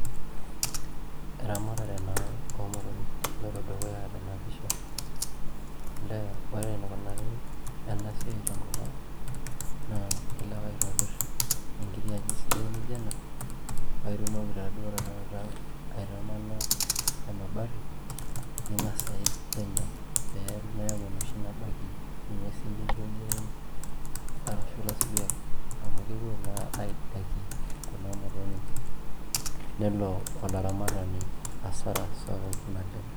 Eramatare naa oo motonyik naloito dukuya tena pisha olee ore enikunari ena siai tenkop ang' naa ilo ake aitobirr enkiti aji sidai nijio ena paa itumoki taaduo tnakata aitamana emabati ning'as aik penyo pee meeku enoshi nabaiki nguesin nijio ildiain arashu ilaisuriak amu kepuo naa aidaikie kuna motonyik nelo olaramatani asara sapuk naleng'.